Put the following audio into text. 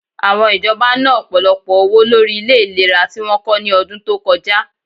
Àwọn ìjọba na, ọ̀pọ̀lọpọ̀ owó lórí ilẹ ìlera tí wọ́n kọ́ ní ọdún tó kọjá